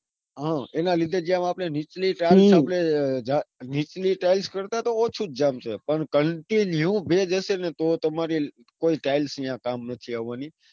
હા એના લીધે હમ જેમ આપણે નીચલી tiles આપડે નીચલી tiles કરતા તો ઓછું જ જામશે. પણ continue ભેજ હશે ન તો કોઈ tiles અહીંયા કામ નથી આવાની.